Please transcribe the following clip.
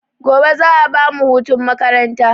Gobe za a bamu hutun makaranta